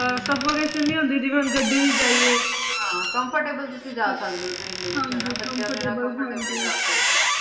ਆਹ suffocatin ਨਾਈ ਹੁੰਦੀ ਜਿਵੇਂ ਹਨ ਗਦੀ ਚ ਜਿਯੇ ਹਾਂ comfortable ਤੁਸੀਂ ਜਾ ਸਕਦੇ ਊ ਟ੍ਰੈਨ ਦੇ ਵਿਚ ਹੈਨਾ ਹਾਂਜੀ ਬਚੀਆਂ ਦੇ ਨਾਲ ਜਾ ਸਕਦੇ ਊ